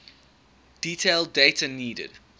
detailed data needed